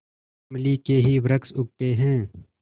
इमली के ही वृक्ष उगते हैं